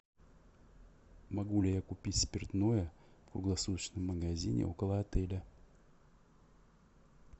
могу ли я купить спиртное в круглосуточном магазине около отеля